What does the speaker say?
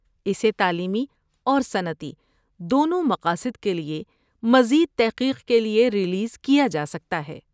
اسے تعلیمی اور صنعتی دونوں مقاصد کے لیے، مزید تحقیق کے لیے ریلیز کیا جا سکتا ہے۔